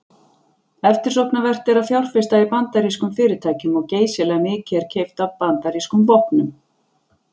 Eftirsóknarvert er að fjárfesta í bandarískum fyrirtækjum og geysilega mikið er keypt af bandarískum vopnum.